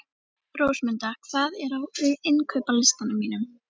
Rósmunda, hvað er á innkaupalistanum mínum?